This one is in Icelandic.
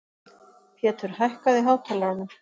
Pétur, hækkaðu í hátalaranum.